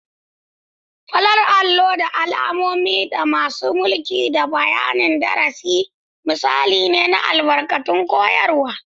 Farar allo da alamomi, da masu mulki da bayanin darasi, misalai ne na albarkatun koyarwa.